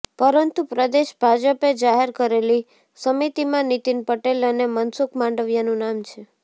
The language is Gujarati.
પરંતુ પ્રદેશ ભાજપે જાહેર કરેલી સમિતિમાં નીતિન પટેલ અને મનસુખ માંડવિયાનું નામ છે